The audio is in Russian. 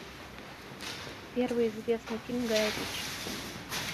первый известный фильм гая ричи